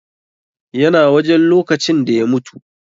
YA na wajen lokacin da ya mutu.